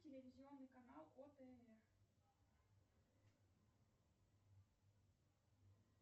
телевизионный канал отр